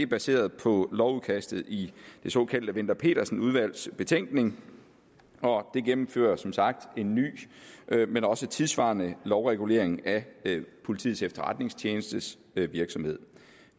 baseret på lovudkastet i det såkaldte wendler pedersen udvalgs betænkning og det gennemfører som sagt en ny men også tidssvarende lovregulering af politiets efterretningstjenestes virksomhed